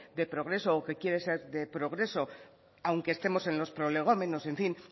de progreso o que quiere ser de progreso aunque estemos en los prolegómenos en fin